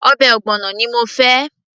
ọbẹ̀ ogbono ni mo fẹ́